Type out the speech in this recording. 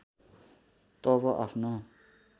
तब आफ्नो